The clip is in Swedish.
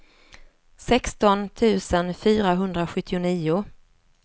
sexton tusen fyrahundrasjuttionio